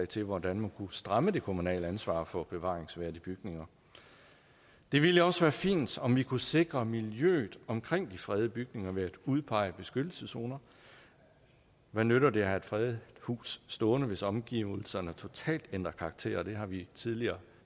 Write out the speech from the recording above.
til hvordan man kunne stramme det kommunale ansvar for bevaringsværdige bygninger det ville også være fint om vi kunne sikre miljøet omkring de fredede bygninger ved at udpege beskyttelseszoner hvad nytter det at have et fredet hus stående hvis omgivelserne totalt ændrer karakter det har vi tidligere